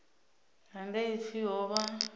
ha nga pfi ho vha